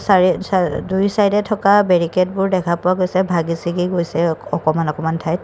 চাৰে চাৰে দুই চাইদে থকা বেৰিকেডবোৰ ভাঙি চিঙি গৈছে অকমান অকণমান ঠাইত।